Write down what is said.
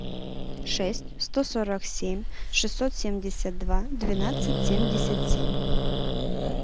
шесть сто сорок семь шестьсот семьдесят два двенадцать семьдесят семь